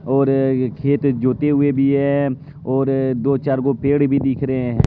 और ये खेत जोते हुए भी है और दो चार गो पेड़ भी दिख रहे हैं।